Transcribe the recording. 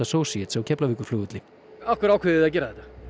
Associates á Keflavíkurflugvelli af hverju ákveðið þið að gera þetta